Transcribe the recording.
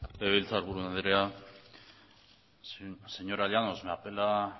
legebiltzarburu andrea señora llanos me apela